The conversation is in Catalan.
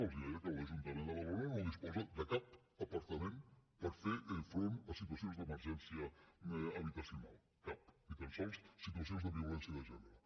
els deia que l’ajuntament de badalona no disposa de cap apartament per fer front a situacions d’emergència habitacional cap ni tan sols situacions de violència de gènere